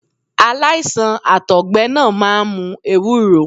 Aláìsàn Àtọ̀gbẹ náà máa ń mu ewúro.